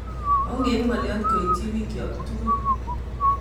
Ogeib ngolyot koiti bikyok tugul